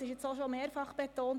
Es wurde mehrfach betont: